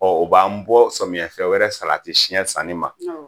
o b'an bɔ samiyɛ fɛ wɛrɛ salati siyɛn sanni ma,